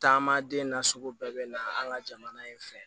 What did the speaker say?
Taama den na sugu bɛɛ bɛ na an ka jamana in fɛ